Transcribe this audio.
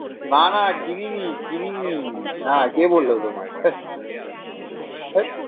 না না কিনিনি কিনিনি হ্যাঁ কে বললো তোমায়?